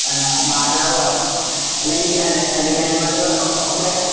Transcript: അന്ന മാതാവോ ആ അല്ലങ്കിൽ ഗ്രാന് അല്ലങ്കിൽ ഗ്രാൻമതറോ ഓ ഒക്കെ